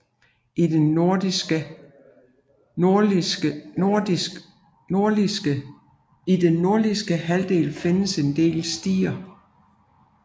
I den nordligste halvdel findes en del stier